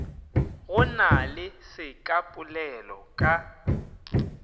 go na le sekapolelo ka